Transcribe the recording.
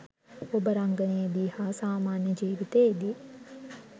ඔබ රංගනයෙදී හා සාමාන්‍ය ජීවිතයේදී